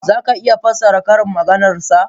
za ka iya fassara ƙarin maganar sa?